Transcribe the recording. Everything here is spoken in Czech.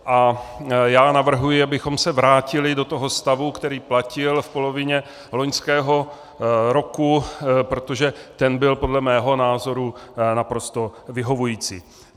A já navrhuji, abychom se vrátili do toho stavu, který platil v polovině loňského roku, protože ten byl podle mého názoru naprosto vyhovující.